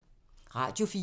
Radio 4